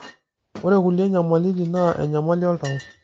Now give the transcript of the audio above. ore kulie nyamalitin naa enyamali oltau